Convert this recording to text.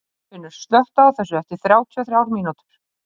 Geirfinnur, slökktu á þessu eftir þrjátíu og þrjár mínútur.